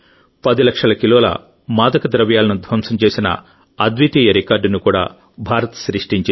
10 లక్షల కిలోల మాదక ద్రవ్యాలను ధ్వంసం చేసిన అద్వితీయ రికార్డును కూడా భారత్ సృష్టించింది